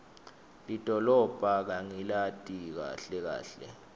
lidolobha angilati kahle kahle